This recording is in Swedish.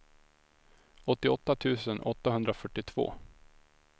åttioåtta tusen åttahundrafyrtiotvå